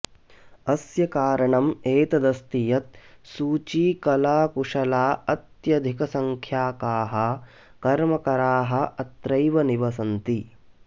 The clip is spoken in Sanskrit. अस्य कारणम् एतदस्ति यत् सूचीकलाकुशलाः अत्यधिकसङ्ख्याकाः कर्मकराः अत्रैव निवसन्ति